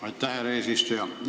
Aitäh, härra eesistuja!